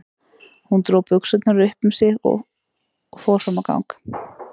Hún dró buxurnar upp um sig aftur og fór fram á gang.